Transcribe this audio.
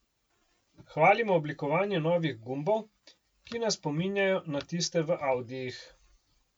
Hvalimo oblikovanje novih gumbov, ki nas spominjajo na tiste v audijih.